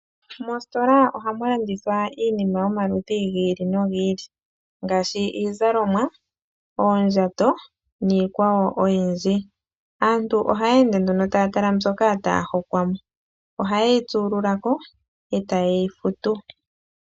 Mosotola oha mu landithwa iinima yomaludhi gi ili no gi ili ngaashi iizalomwa, oondjato ,niikwawo oyindji. Aantu oha ya ende nduno taya tala mbyoka taa hokwa mo, ohaye yi tsululako e ta ye yi futu.